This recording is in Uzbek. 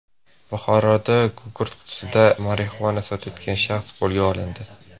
Buxoroda gugurt qutisida marixuana sotayotgan shaxs qo‘lga olindi.